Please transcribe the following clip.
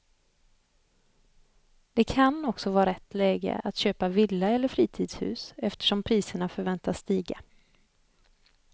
Det kan också vara rätt läge att köpa villa eller fritidshus eftersom priserna förväntas stiga.